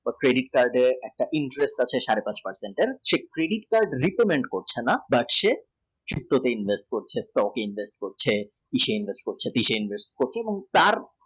credit card এর প্রতি inflation সাড়ে দশ per cent সেই credit card repayment করছে না সে শিল্প তে invest করছে stock এ invest করছে কিসে invest করছে পীসে invest করছে।